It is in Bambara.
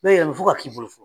Ne yɛrɛ fo ka k'i bolo